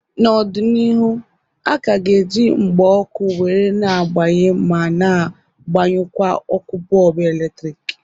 N'ọdịnihu, a ka ga eji mgba ọkụ were na agbaye ma na agbanyụkwa ọkụ bọlbụ eletrik